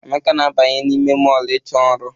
Emeka na-abanye n'ime mọọlụ ịchọ ọrụ.